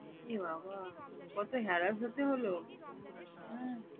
এ বাবা কত harass হতে হলো হম